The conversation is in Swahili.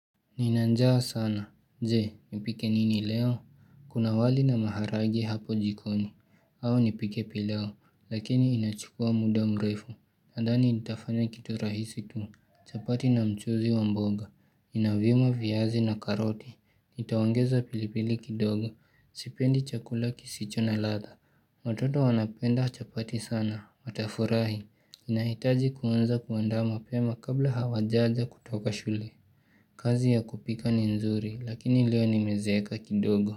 Nina njaa sana, jee, nipike nini leo? Kuna wali na maharage hapo jikoni, au nipike pilau, lakini inachukua muda mrefu, nadhani itafanya kitu rahisi tu, chapati na mchuzi wa mboga, inavima viyazi na karoti, nitaongeza pilipili kidogo, sipendi chakula kisicho na latha, watoto wanapenda chapati sana, watafurahi, nahitaji kuanza kuandaa ma pema kabla hawajaja kutoka shule. Kazi ya kupika ni nzuri lakini leo nimezeka kidogo.